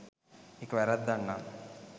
ඒක වැරැද්දක් නම්